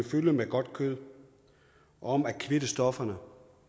fylde med godt kød om at kvitte stofferne